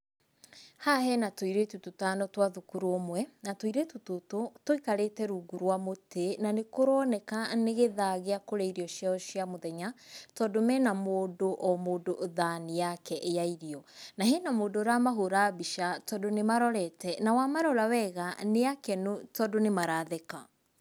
Haha hena tũirĩtu tũtano twa thukuru ũmwe. Na tũirĩtu tũtũ tũikarĩte rungu rwa mũtĩ, na nĩkũroneka nĩ gĩthaa gĩa kũrĩa irio ciao cia mũthenya, tondũ mena o mũndũ o mũndũ thani yake ya irio. Na hena mũndũ ũramahũra mbica, tondũ nĩmarorete, na wamarora wega nĩ akenu, tondũ nĩmaratheka.